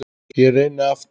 Ég reyni aftur